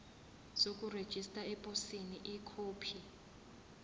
sokurejista eposini ikhophi